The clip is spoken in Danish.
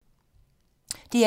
DR1